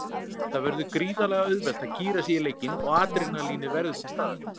Það verður gríðarlega auðvelt að gíra sig í leikinn og adrenalínið verður til staðar.